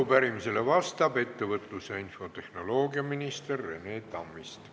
Arupärimisele vastab ettevõtlus- ja infotehnoloogiaminister Rene Tammist.